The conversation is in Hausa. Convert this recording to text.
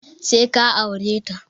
Sai ka aure ta!